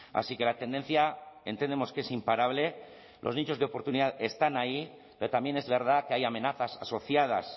así que la tendencia entendemos que es imparable los nichos de oportunidad están ahí pero también es verdad que hay amenazas asociadas